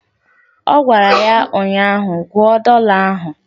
Ọ gwara ya ụnyaahụ "Gụọ dọla ahụ"